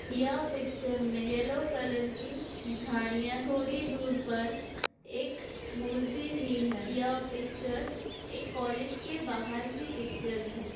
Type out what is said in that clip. यह पिक्चर में yellow colour की झाड़ियाँ थोड़ी दूर पर एक मुर्सी भी हैं यह पिक्चर एक कॉलेज के बाहर की पिक्चर हैं।